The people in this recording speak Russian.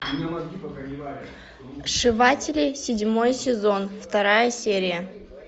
сшиватели седьмой сезон вторая серия